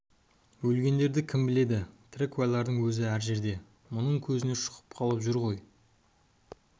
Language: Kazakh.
өлгендерді кім біледі тірі куәлердің өзі әр-әр жерде мұның көзіне шұқып қалып жүр ғой